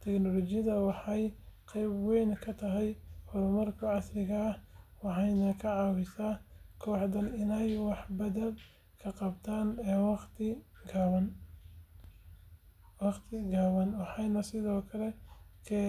Tiknoolajiyadani waxay qayb weyn ka tahay horumarka casriga ah waxayna ka caawisaa kooxahan inay wax badan ka qabtaan wakhti gaaban. Waxaan sidoo kale ka fikiraa muhiimadda.